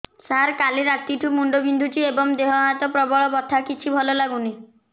ସାର କାଲି ରାତିଠୁ ମୁଣ୍ଡ ବିନ୍ଧୁଛି ଏବଂ ଦେହ ହାତ ପ୍ରବଳ ବଥା କିଛି ଭଲ ଲାଗୁନି